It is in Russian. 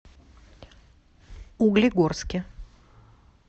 углегорске